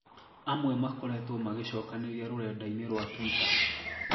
Amwe makoretwo magĩcokanĩria rurenda-inĩ rwa twitter